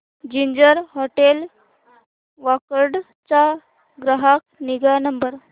ginger hotel Wakad चा ग्राहक निगा नंबर